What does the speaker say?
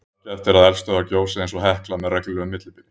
Sjaldgæft er að eldstöðvar gjósi eins og Hekla með reglulegu millibili.